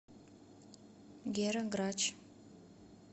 гера грач